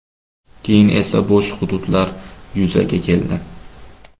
Keyin esa bo‘sh hududlar yuzaga keldi.